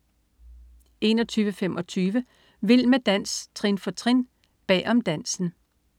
21.25 Vild med dans, trin for trin. Bag om dansen